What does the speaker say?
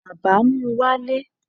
bàbá mú walé